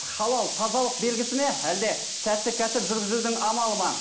халал тазалық белгісі ме әлде сәтті кәсіп жүргізудің амалы ма